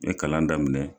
N ye kalan daminɛ